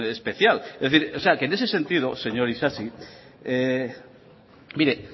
especial en ese sentido señor isasi